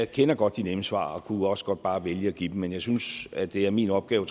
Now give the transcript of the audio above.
kender godt de nemme svar og jeg kunne også godt bare vælge at give dem men jeg synes trods at det er min opgave